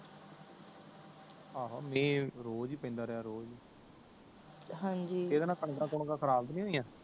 ਏਹੋ ਮਿਹ ਰੋਜ ਹੀ ਪੈਂਦਾ ਰਿਹਾ ਰੋਜ ਹੀ ਹਾਂਜੀ ਏਦੇ ਨਾ ਕਣਕਾਂ ਕੁਣਕਾ ਖ਼ਰਾਬ ਤੇ ਨੀ ਹੋਇਆ